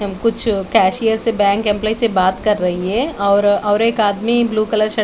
कुछ कैशियर से bank employee से बात कर रही है और और एक आदमी ब्लू कलर श--